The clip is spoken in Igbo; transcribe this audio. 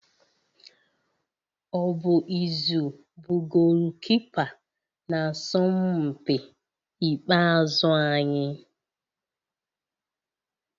Ọ bụ Izu bụ goolukipa n'asọmpi ikpeazụ anyị?